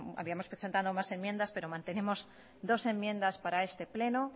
habíamos presentado más enmiendas pero mantenemos dos enmiendas para este pleno